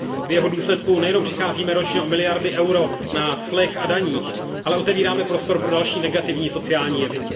V jeho důsledku nejenom přicházíme ročně o miliardy EUR na clech a daních, ale otevíráme prostor pro další negativní sociální jevy.